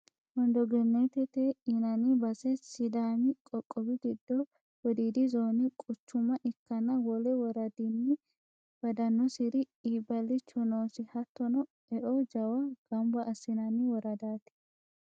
Wondo genete yinanni base sidaami qoqqowi giddo wodiidi zoone quchuma ikkanna wole woradani badanosiri iibbalicho noosi, hattono eo jawa gamba assinanni woradati.